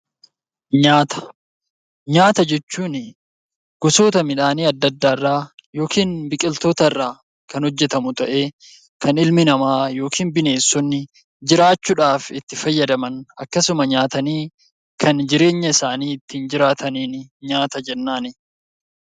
Nyaata: Nyaata jechuun gosoota midhaanii adda addaa irraa yookiin biqiloota adda addaa irraa kan hojjetamu ta'ee kan ilmi namaa yookiin bineensonni jiraachuudhaaf itti fayyadaman akkasumas nyaatanii kan ittiin jiraataniin nyaata jennaani.